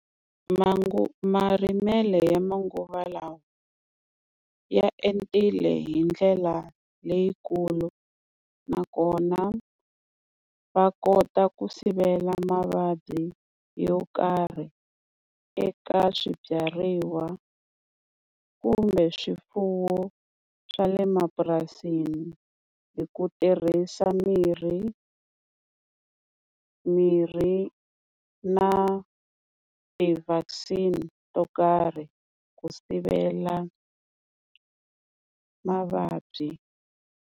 marimelo ya manguva lawa ya entile hi ndlela leyikulu, nakona va kota ku sivela mavabyi yo karhi eka swibyariwa kumbe swifuwo swa le mapurasini, hi ku tirhisa mirhi mirhi na ti-vaccine to karhi ku sivela mavabyi.